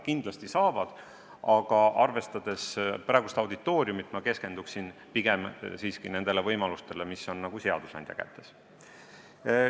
Kindlasti saavad, aga arvestades praegust auditooriumi, keskenduksin pigem nendele võimalustele, mis on seadusandja kätes.